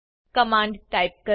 command type કરો